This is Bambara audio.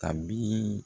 A bi